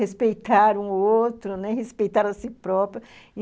Respeitar um outro, né, respeitar a si própria.